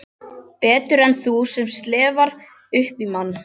Betur en þú sem slefar upp í mann.